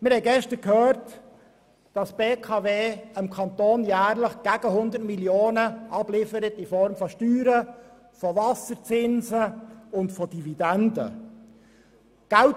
Wir haben gestern gehört, dass die BKW dem Kanton jährlich gegen 100 Mio. Franken in Form von Steuern, Wasserzinsen und Dividenden abliefert.